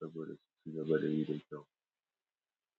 saboda su ci gaba ɗayibda kyau.